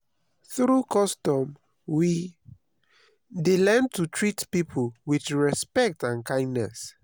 through custom we dey learn to treat people with respect and kindness.